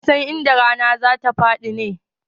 Wa ya san inda rana za ta faɗi ne?